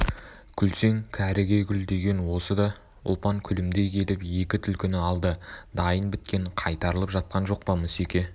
күлсең кәріге күл деген осы да ұлпан күлімдей келіп екі түлкіні алды дайын біткен қайтарылып жатқан жоқ па мүсеке